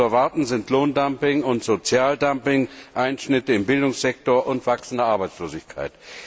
Zu erwarten sind Lohndumping und Sozialdumping, Einschnitte im Bildungssektor und wachsende Arbeitslosigkeit.